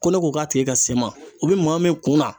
Ko ne ko k'a tigi ka se n ma , o bɛ maa min kunna